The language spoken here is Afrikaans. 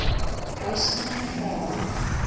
bosman vra